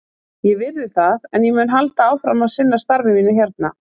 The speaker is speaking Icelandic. Ég virði það, en ég mun halda áfram að sinna starfi mínu hérna.